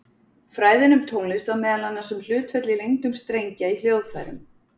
Fræðin um tónlist var meðal annars um hlutföll í lengdum strengja í hljóðfærum.